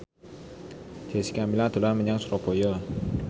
Jessica Milla dolan menyang Surabaya